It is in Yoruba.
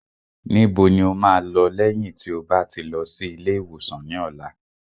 Níbo ni o máa lọ lẹ́yìn tí o bá ti lọ sí ilé ìwòsàn ní ọ̀la?